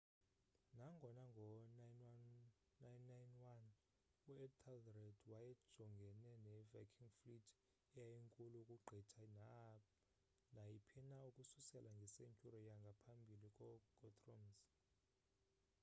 nangona ngo 991 uethelred wayejongene ne viking fleet eyayinkulu ukugqitha naayiphina ukususela nge-century yangamphabili ko guthrum's